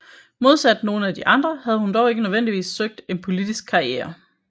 Modsat nogle af de andre havde hun dog ikke nødvendigvis søgt en politisk karriere